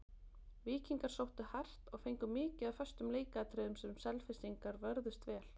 Víkingar sóttu hart, og fengu mikið af föstum leikatriðum sem Selfyssingar vörðust vel.